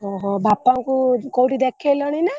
ଓହୋ ବାପାଙ୍କୁ କୋଉଠି ଦେଖେଇଲଣି ନା?